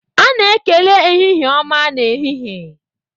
A na-ekele ehihie ọma n'ehihie.